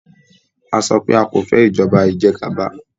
A sọpé a kọ̀ fẹ́ ìjọba ìjẹgàba!